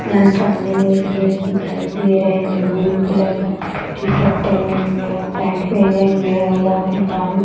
यहां सामने में एक जेन्स दिखाई दे रहे है जो ब्लू कलर का टी - शर्ट पहने हुए है और पैंट पहने हुए है और यहां पे झाड़ू --